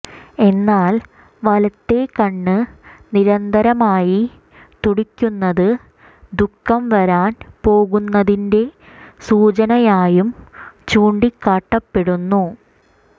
എന്നാൽ വലത്തേ കണ്ണ് നിരന്തരമായി തുടിക്കുന്നത് ദുഖം വരാൻ പോകുന്നതിന്റെ സൂചനയായും ചൂണ്ടിക്കാട്ടപ്പെടുന്നു